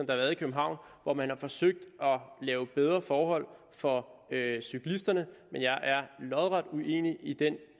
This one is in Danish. været i københavn hvor man har forsøgt at lave bedre forhold for cyklisterne men jeg er lodret uenig i den